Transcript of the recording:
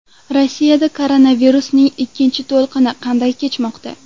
Rossiyada koronavirusning ikkinchi to‘lqini qanday kechmoqda?.